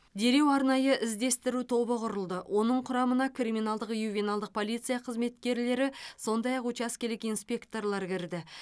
дереу арнайы іздестіру тобы құрылды оның құрамына криминалдық ювеналдық полиция қызметкерлері сондай ақ учаскелік инспекторлар кірді